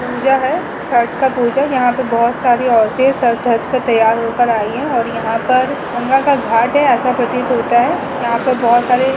पूजा है। छठ का पूजा। यहाँ पर बहोत सारी औरतें सज-धजकर कर तैयार हो कर आयीं हैं और यहाँ पर गंगा का घाट ऐसा प्रतीत होता है। यहां पर बहोत सारे --